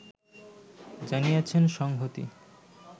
জানিয়েছেন সংহতি